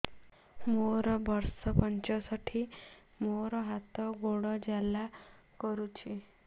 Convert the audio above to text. ମୋର ବର୍ଷ ପଞ୍ଚଷଠି ମୋର ହାତ ଗୋଡ଼ ଜାଲା କରୁଛି